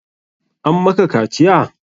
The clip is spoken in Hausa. An maka kaciya?